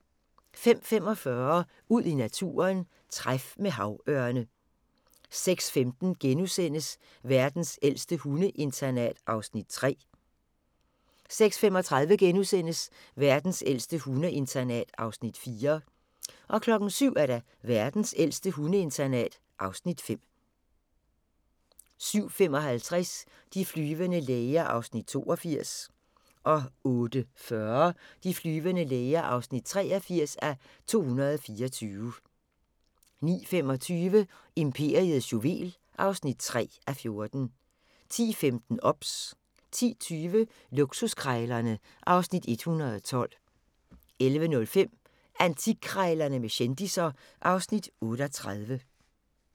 05:45: Ud i naturen: Træf med havørne 06:15: Verdens ældste hundeinternat (Afs. 3)* 06:35: Verdens ældste hundeinternat (Afs. 4)* 07:00: Verdens ældste hundeinternat (Afs. 5) 07:55: De flyvende læger (82:224) 08:40: De flyvende læger (83:224) 09:25: Imperiets juvel (3:14) 10:15: OBS 10:20: Luksuskrejlerne (Afs. 112) 11:05: Antikkrejlerne med kendisser (Afs. 38)